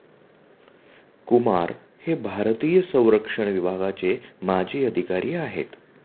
कुमार हे भारतीय संरक्षण विभागाचे माजी अधिकारी आहेत.